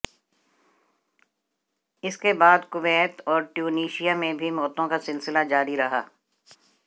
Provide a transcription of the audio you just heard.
इसके बाद कुवैत और ट्यूनीशिया में भी मौतों का सिलसिला जारी रहा